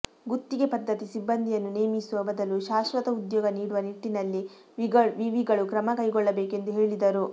ಗುತ್ತಿಗೆ ಪದ್ದತಿ ಸಿಬ್ಬಂದಿಯನ್ನು ನೇಮಿಸುವ ಬದಲು ಶಾಶ್ವತ ಉದ್ಯೋಗ ನೀಡುವ ನಿಟ್ಟಿನಲ್ಲಿ ವಿ ವಿಗಳು ಕ್ರಮ ಕೈಗೊಳ್ಳಬೇಕು ಎಂದು ಹೇಳಿದರು